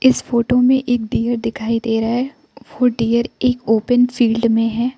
इस फोटो में एक डियर दिखाई दे रहा है वो डियर एक ओपन फील्ड में है।